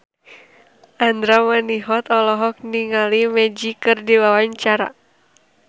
Andra Manihot olohok ningali Magic keur diwawancara